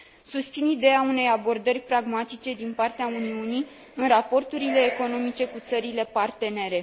Susțin ideea unei abordări pragmatice din partea Uniunii în raporturile economice cu țările partenere.